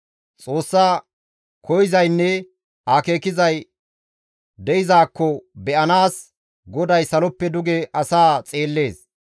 Xoossa koyzaynne akeekizay de7izakko be7anaas, GODAY saloppe duge asaa xeellees.